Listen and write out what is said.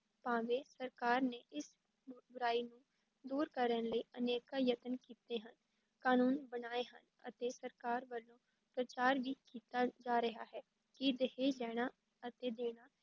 ਭਾਵੇਂ ਸਰਕਾਰ ਨੇ ਇਸ ਬੁ ਬੁਰਾਈ ਨੂੰ ਦੂਰ ਕਰਨ ਲਈ ਅਨੇਕਾਂ ਯਤਨ ਕੀਤੇ ਹਨ, ਕਾਨੂੰਨ ਬਣਾਏ ਹਨ ਅਤੇ ਸਰਕਾਰ ਵੱਲੋਂ ਪ੍ਰਚਾਰ ਵੀ ਕੀਤਾ ਜਾ ਰਿਹਾ ਹੈ ਕਿ ਦਹੇਜ ਲੈਣਾ ਅਤੇ ਦੇਣਾ